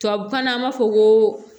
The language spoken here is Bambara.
Tubabukan na an b'a fɔ ko